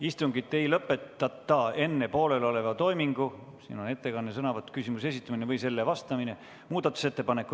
Istungit ei lõpetata enne poolelioleva toimingu lõppemist.